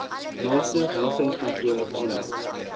naaste welsynskantoor aanmeld